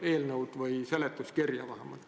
See võiks olla seletuskirjas vähemalt.